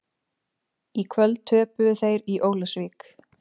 Í kvöld töpuðu þeir í Ólafsvík.